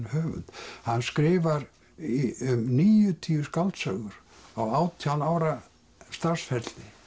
höfund hann skrifar um níutíu skáldsögur á átján ára starfsferli